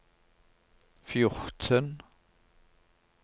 fjorten